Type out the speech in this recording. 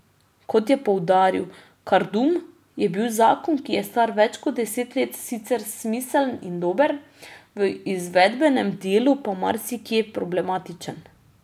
Kot je poudaril Kardum, je bil zakon, ki je star več kot deset let, sicer smiseln in dober, v izvedbenem delu pa marsikje problematičen.